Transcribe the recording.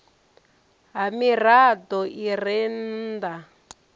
ha mirado i re nnda